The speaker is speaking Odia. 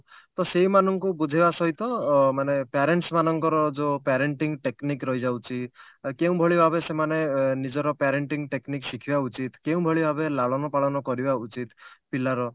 ତ ସେ ମାନଙ୍କୁ ବୁଝେଇବା ସହିତ ମାନେ parents ମାନଙ୍କର ଯୋ parenting technic ରହିଯାଉଛି କେଉଁ ଭଳି ଭାବେ ସେମାନେ ନିଜର parenting technic ଶିଖିବା ଉଚିତ କେଉନଭଳି ଭାବେ ଲାଳନ ପାଳନ କରିବା ଉଚିତ ପିଲାର